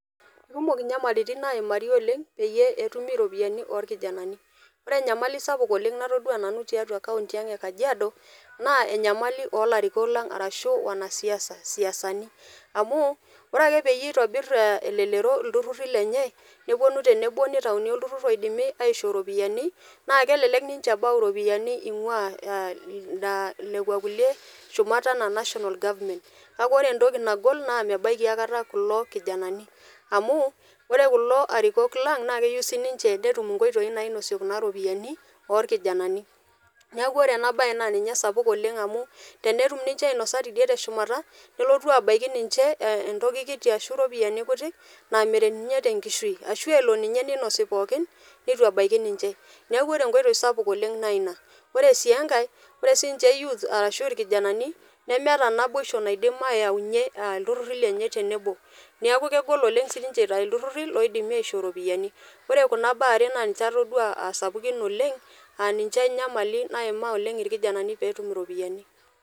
Eikumok nyamalaritin naimari oleng pee etumi iropiyiani oolkijanani, ore enyamali sapuk oleng natodua nanu tiatua kaunti ang e Kajiado naa enyamali oo larikok lang arashu wanasiasa, siaani ,amuu ore ake pee eitobirr elelero ilturruri lenye nepuonu tenebo neitayuni olturrurr oidimi aishoo ropiyiani naa kelek ninche ebau ropiyiani einguaa aa nekua kulie shumat anaa national government ,kake ore entoki nagol naa mebaiki akata kulo kijanani, amuu ore kulo arikok lang naa keyieu sii ninche netum nkoitoi nainosie kuna ropiyiani oolkijananani, neeku ore ena baye naa ninye esapuk oleng amu tenetum ninche ainosa teidei tushumata nelotu abaiki ninje entoki kiti aashu ropiani kuti naa meret ninye tenkishu, ashu elo ninye neinosi pookin neitu ebaiki ninje, neeku ore enkoitoi sapuk oleng naa ina, ore sii enkae ore sii ninje youth aashu ilkijanani nemeta naboisho naidim aayaunye ilturruri lenye tenebo ,neeku oleng sii ninje eitayu ilturruri oidimi aishoo ropiyiani ,ore kuna baa are naa ninje atodua aa sapukin oleng aa ninje enyamali namaa oleng ilkijanani pee etum iropiyiani.